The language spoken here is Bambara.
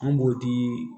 An b'o di